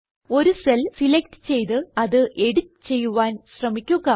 ഒരു cell select ചെയ്ത് അത് എഡിറ്റ് ചെയ്യുവാൻ ശ്രമിക്കുക